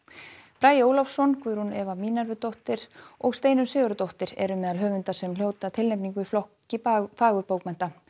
bragi Ólafsson Guðrún Eva og Steinunn Sigurðardóttir eru meðal höfunda sem hljóta tilnefningu í flokki fagurbókmennta